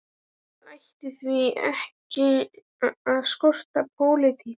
Það ætti því ekki að skorta pólitík.